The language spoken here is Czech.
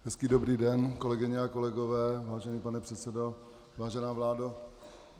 Hezký dobrý den, kolegyně a kolegové, vážený pane předsedo, vážená vládo.